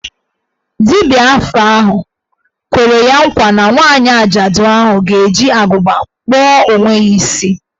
Dibia afa ahụ kwere ya ngwa na nwaanyị ajaadu ahụ ga-eji agụba kpụọ onwe ya isi.